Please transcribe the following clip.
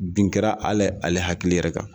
Bin kɛra ali ale hakili yɛrɛ kan.